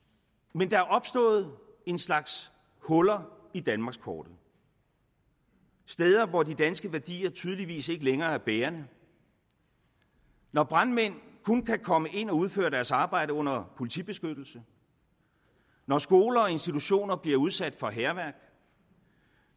men der er opstået en slags huller i danmarkskortet steder hvor de danske værdier tydeligvis ikke længere er bærende når brandmænd kun kan komme ind og udføre deres arbejde under politibeskyttelse når skoler og institutioner bliver udsat for hærværk